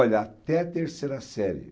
Olha, até a terceira série.